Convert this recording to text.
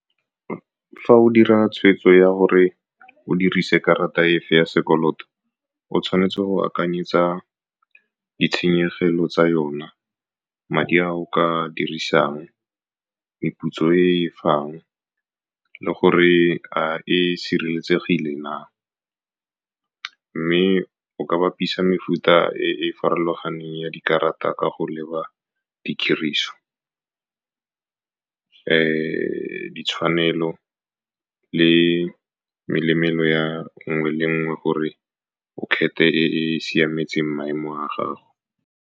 Fa o dira tshwetso ya gore o dirise karata efe ya sekoloto, o tshwanetse go akanyetsa ditshenyegelo tsa yona, madi a o ka dirisang, meputso e e fang, le gore a e sireletsegile na. Mme o ka bapisa mefuta e e farologaneng ya dikarata ka go leba ditiriso, ditshwanelo le ya nngwe le nngwe, gore o kgethe e siametseng maemo a gago.